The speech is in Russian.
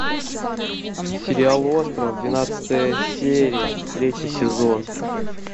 сериал остров двенадцатая серия третий сезон